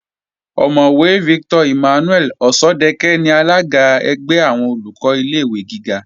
Ọ̀mọ̀wẹ̀ Victor Emmanuel Òṣọ́dẹkẹ́ ni alága ẹgbẹ́ àwọn Olùkọ́ ilé-ìwé gíga